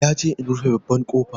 Ya ce in rufe babban ƙofa